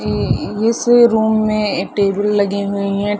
ये इस रूम में टेबल लगे हुए हैं ।